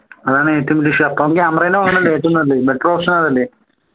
അതാണ് ഏറ്റവും വലിയ വിഷയം അപ്പോ camera വാങ്ങുന്നതല്ലേ ഏറ്റവും നല്ലത് better option അതല്ലേ